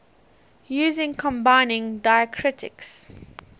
using combining diacritics